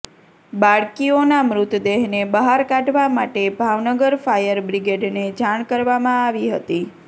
બાળકીઓના મૃતદેહને બહાર કાઢવા માટે ભાવનગર ફાયર બ્રિગેડને જાણ કરવામાં આવી હતી